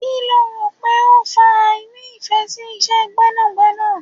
Kí lo rò pé ó fa àìní ìfẹ́ sí Iṣẹ́ gbẹ́nàgbẹ́nà.